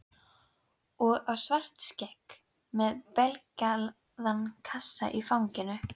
Og á Svartskegg með beyglaða kassann í fanginu.